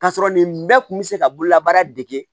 K'a sɔrɔ nin bɛɛ kun bɛ se ka bolola baara dege